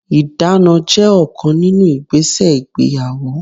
Ìdána jẹ́ ọ̀kan nínú igbese ìgbéyàwó.